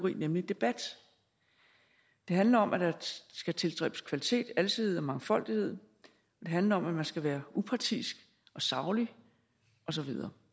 nemlig debat det handler om at der skal tilstræbes kvalitet alsidighed og mangfoldighed det handler om at man skal være upartisk og saglig og så videre